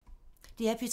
DR P2